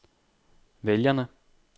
vælgerne